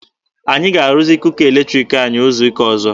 Anyị ga-arụzi kuka eletriki anyị izu ụka ọzọ.